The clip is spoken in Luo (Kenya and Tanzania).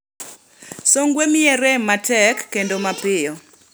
"Songwe miyi rem matek kendo mapiyo